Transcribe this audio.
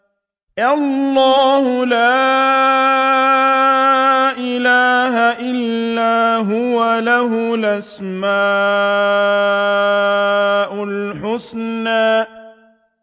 اللَّهُ لَا إِلَٰهَ إِلَّا هُوَ ۖ لَهُ الْأَسْمَاءُ الْحُسْنَىٰ